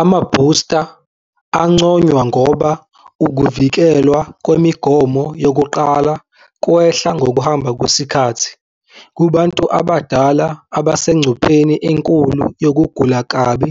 Amabhusta angconywana ngoba ukuvikelwa kwemigomo yokuqala kwehla ngokuhamba kwesikhathi. Kubantu abadala abasegcupheni enkulu yokugula kabi,